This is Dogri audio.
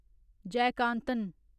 जयकांतन